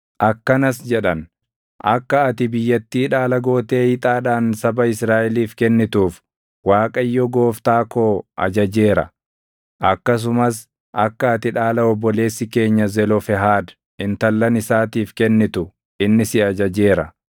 akkanas jedhan; “Akka ati biyyattii dhaala gootee ixaadhaan saba Israaʼeliif kennituuf Waaqayyo Gooftaa koo ajajeera; akkasumas akka ati dhaala obboleessi keenya Zelofehaad intallan isaatiif kennitu inni si ajajeera.